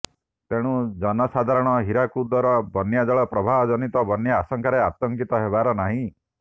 ତେଣୁ ଜନସାଧାରଣ ହୀରାକୁଦର ବନ୍ୟା ଜଳ ପ୍ରବାହ ଜନିତ ବନ୍ୟା ଆଶଙ୍କାରେ ଆତଙ୍କିତ ହେବାର ନାହିଁ